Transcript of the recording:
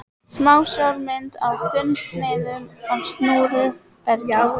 Smásjármynd af þunnsneiðum af súru bergi.